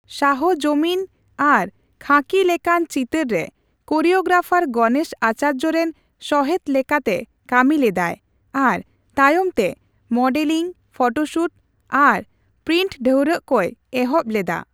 ᱥᱟᱦ ᱡᱚᱢᱤᱱ ᱟᱨ ᱠᱷᱟᱹᱠᱤ ᱞᱮᱠᱟᱱ ᱪᱤᱛᱟᱹᱨ ᱨᱮ ᱠᱳᱨᱤᱭᱳᱜᱨᱟᱯᱷᱟᱨ ᱜᱚᱱᱮᱥ ᱟᱪᱟᱨᱡᱚ ᱨᱮᱱ ᱥᱚᱦᱮᱫ ᱞᱮᱠᱟᱛᱮ ᱠᱟᱹᱢᱤ ᱞᱮᱫᱟᱭ ᱟᱨ ᱛᱟᱭᱚᱢ ᱛᱮ ᱢᱚᱰᱮᱞᱤᱝ, ᱯᱷᱚᱴᱳᱥᱩᱴ ᱟᱨ ᱯᱨᱤᱱᱴ ᱰᱷᱟᱹᱣᱨᱟᱹᱜ ᱠᱚᱭ ᱮᱦᱚᱵ ᱞᱮᱫᱟ ᱾